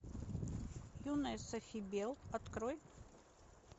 юная софи белл открой